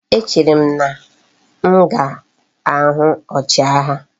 E chere m na m ga igwe ochi agha